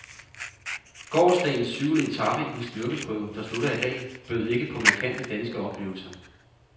Gårsdagens syvende etape i den styrkeprøve, der slutter i dag, bød ikke på markante danske oplevelser.